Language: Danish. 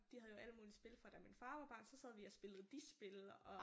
De havde jo alle mulige spil fra da min far var barn så sad vi og spillede de spil og